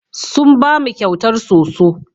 Sun ba mu kyautar soso.